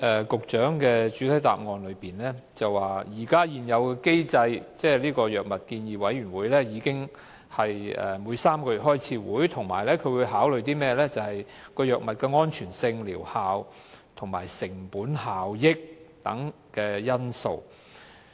局長在主體答覆提到，按現行機制，藥物建議委員會每3個月召開會議，評估新藥物的安全性、療效及成本效益等因素。